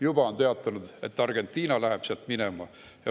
Juba on teatatud, et Argentiina läheb sealt minema.